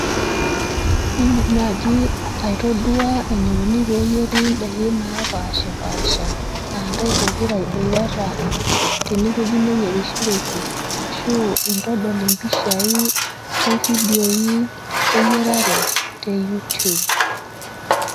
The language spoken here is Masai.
Indim naaji aitodua enikuni peeyeri ndaikin napaashipaasha aa ntai pokira iboitata tene wueji neyerishoreki ashu intodol impishai o fidioi e yiarare te youtube.